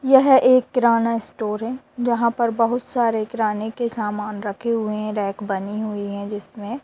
यह एक किराना स्टोर है जहाँ पर बहुत सारे किराने के सामान रखे हुए है रैक बनी हुए है जिसमें--